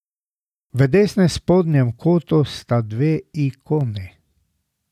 V desnem spodnjem kotu sta dve ikoni.